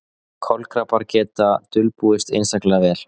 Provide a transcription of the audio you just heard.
Kolkrabbar geta dulbúist einstaklega vel.